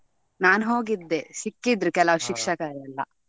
ನಾನು ಹೋಗಿದ್ದೆ ಸಿಕ್ಕಿದ್ರು ಕೆಲವು ಶಿಕ್ಷಕರೆಲ್ಲ.